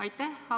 Aitäh!